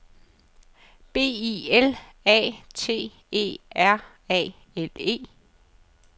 B I L A T E R A L E